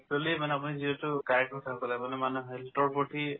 actually মানে আপুনি যিহেতু correct কথা ক'লে মানে মানুহে health ৰ প্ৰতি